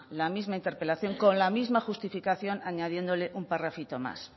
la misma interpelación con la misma justificación añadiéndole un parrafito más